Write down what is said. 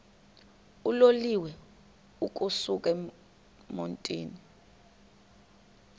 uloliwe ukusuk emontini